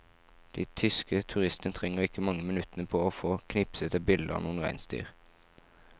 De tyske turistene trenger ikke mange minuttene på å få knipset et bilde av noen reinsdyr.